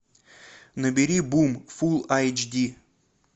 набери бум фул айч ди